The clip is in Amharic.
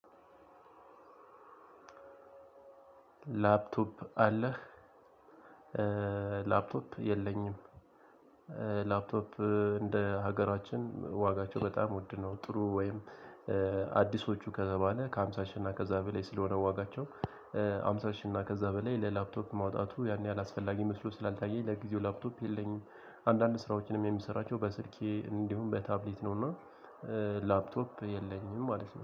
ላፕቶፕ አለህ? ላፕቶፕ የለኝም። ላፕቶፕ እንደ ሀገራችን ዋጋቸው በጣም ወድነው ጥሩ ወይም። አዲሶቹ ከተባለ ከሃምሳ ሺህ እና ከዛ በላይ ስለሆነ ዋጋቸው ሃምሳ ሺህ እና ከዛ በላይ ለላፕቶፕ ማውጣቱ ያን ያህል አስፈላጊ መስሎ ስላልታየኝ። ለጊዜው ላፕቶፕ የለኝም። አንዳንድ ስራዎችንም የሚሰራቸው በስልኬ እንዲሁም በታብሌት ነውና። ላፕቶፕ የለኝም ማለት ነው